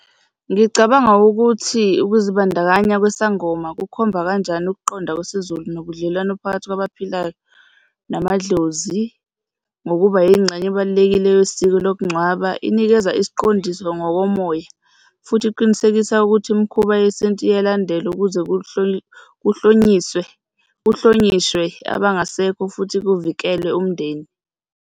Ngicabanga ukuthi ukuzibandakanya kwesangoma kukhomba kanjani ukuqonda kwesiZulu nobudlelwano phakathi kwabaphilayo namadlozi, ngokuba yingxenye ebalulekile yesiko lokungcwaba, inikeza isiqondiso ngokomoya futhi iqinisekisa ukuthi imikhuba yesintu iyalandelwa ukuze kuhlonyiswe, kuhlonishwe abangasekho futhi kuvikelwe umndeni.